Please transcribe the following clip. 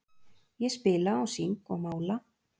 Ég spila og syng og mála.